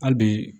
Hali bi